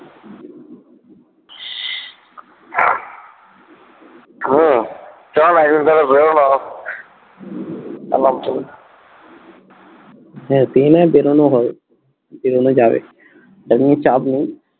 চ না একদিন কোথাও ঘুরে হ্যাঁ বেরোনো হয় বেরোনো যাবে ওটা নিয়ে চাপ নেই